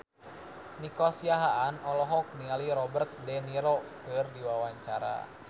Nico Siahaan olohok ningali Robert de Niro keur diwawancara